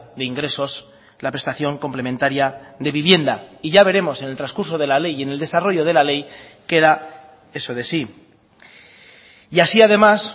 de ingresos la prestación complementaria de vivienda y ya veremos en el transcurso de la ley y en el desarrollo de la ley que da eso de sí y así además